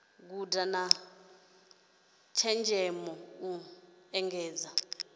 guda na tshenzhemo u engedza